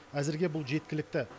әзірге бұл жеткілікті